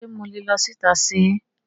Ṣe mo le lọ síta ṣer?